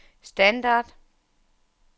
standard